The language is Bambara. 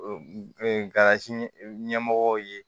Kalan ɲɛmɔgɔw ye